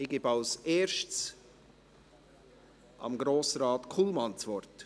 Ich gebe zuerst Grossrat Kullmann das Wort.